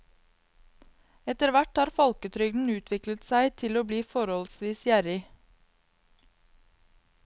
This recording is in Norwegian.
Etterhvert har folketrygden utviklet seg til å bli forholdsvis gjerrig.